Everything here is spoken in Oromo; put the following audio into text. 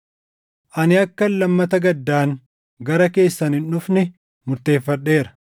Ani akkan lammata gaddaan gara keessan hin dhufne murteeffadheera.